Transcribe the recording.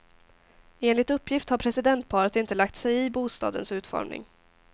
Enligt uppgift har presidentparet inte lagt sig i bostadens utformning.